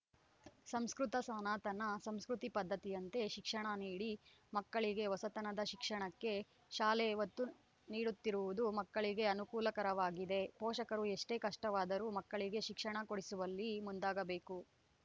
ಸಂಸ್ಕೃತ ಸನಾತನ ಸಂಸ್ಕೃತಿ ಪದ್ಧತಿಯಂತೆ ಶಿಕ್ಷಣ ನೀಡಿ ಮಕ್ಕಳಿಗೆ ಹೊಸತನದ ಶಿಕ್ಷಣಕ್ಕೆ ಶಾಲೆ ಒತ್ತು ನೀಡುತ್ತಿರುವುದು ಮಕ್ಕಳಿಗೆ ಅನುಕೂಲಕರವಾಗಲಿದೆ ಪೋಷಕರು ಎಷ್ಟೇ ಕಷ್ಟವಾದರು ಮಕ್ಕಳಿಗೆ ಶಿಕ್ಷಣ ಕೊಡಿಸುವಲ್ಲಿ ಮುಂದಾಗಬೇಕು